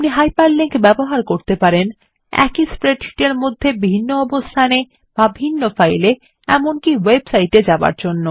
আপনি হাইপারলিঙ্কস ব্যবহার করতে পারেন একই স্প্রেডশীট মধ্যে একটি ভিন্ন অবস্থান -এ বা ভিন্ন ফাইলএ এমনকি ওয়েব সাইট -এ যাবার জন্য